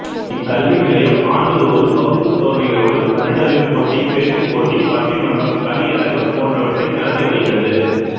இக்கல்வி நிலையம் ஆண்டு தோறும் வகுப்பு சோதனைகளோடு தமிழ் அறிவுப் போட்டி பேச்சுப்போட்டி பட்டிமன்றம் கவிஅரங்கம் போன்றவற்றை நடத்தி வருகிறது